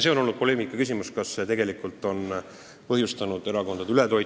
See on olnud poleemika küsimus, kas see on tegelikult põhjustanud erakondade ületoitmist.